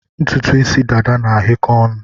Ntụtụ isi dada na-ahịọkọ onu